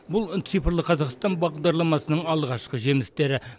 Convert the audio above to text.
бұл цифрлық қазақстан бағдарламасының алғашқы жемістері